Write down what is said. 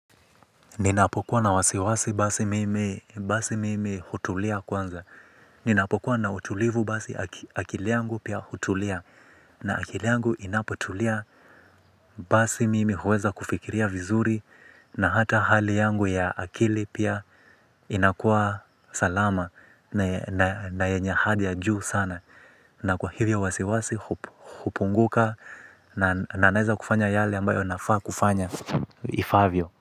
Ninapokuwa na wasiwasi basi mimi, basi mimi hutulia kwanza. Ninapokuwa na utulivu basi akili yangu pia hutulia. Na akili yangu inapotulia basi mimi huweza kufikiria vizuri. Na hata hali yangu ya akili pia inakuwa salama. Na yenye hali ya juu sana. Na kwa hivyo wasiwasi hupunguka na, na naeza kufanya yale ambayo nafaa kufanya, ifaavyo.